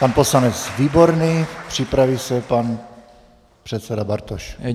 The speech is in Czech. Pan poslanec Výborný, připraví se pan předseda Bartoš.